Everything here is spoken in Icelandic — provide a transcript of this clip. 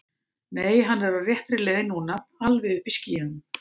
Nei, hann er á réttri leið núna. alveg uppi í skýjunum.